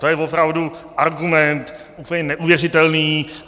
To je opravdu argument úplně neuvěřitelný!